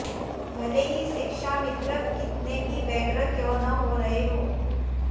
भले ही शिक्षामित्र कितने भी व्यग्र क्यों न हो रहे हों